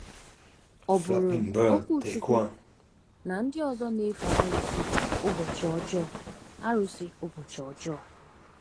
Ọ bụụrụ Okwuchukwu na ndị ọzọ na-efe arụsị ụbọchị ọjọọ. arụsị ụbọchị ọjọọ.